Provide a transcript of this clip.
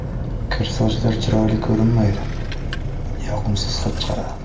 Kir sochlar chiroyli ko‘rinmaydi, yoqimsiz hid chiqaradi.